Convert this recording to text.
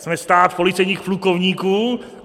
Jsme stát policejních plukovníků?